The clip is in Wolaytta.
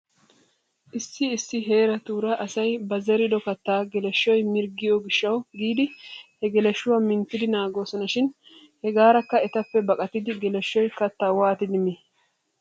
Issi issi heeratuura asay ba zerido kattaa geleshoy mirggiyoo gishshawu giidi he geleshshuwaa minttidi naagoosona shin hegaarakka etappe baqatidi geleshshoy kattaa waatidi mii?